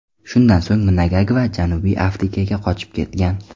Shundan so‘ng Mnangagva Janubiy Afrikaga qochib ketgan.